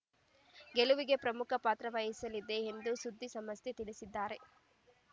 ಗೆಲುವಿಗೆ ಪ್ರಮುಖಪಾತ್ರ ವಹಿಸಲಿದೆ ಎಂದು ಸುದ್ದಿ ಸಂಸ್ಥೆಗೆ ತಿಳಿಸಿದ್ದಾರೆ